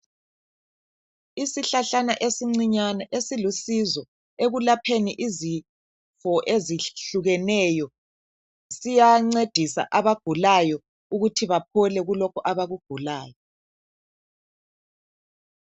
Isihlahlana esincinyane esilusizo ekulapheni izifo ezihlukeneyo, siyancedisa abagulayo ukuthi baphole kulokho abakugulayo